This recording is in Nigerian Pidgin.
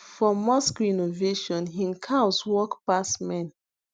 for mosque renovation hin cows work pass men